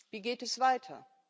Wie geht es weiter?